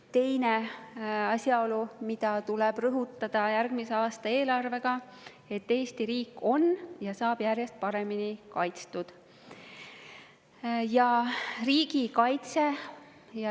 Teine asjaolu, mida tuleb rõhutada järgmise aasta eelarve puhul, on see, et Eesti riik on ja saab järjest paremini kaitstud.